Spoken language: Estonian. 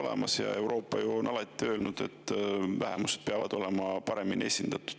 Euroopa on ju alati öelnud, et vähemused peavad olema paremini esindatud.